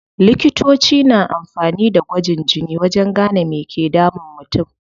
Likitoci na amfani da gwajin jini wajen gane me ke damun mutum.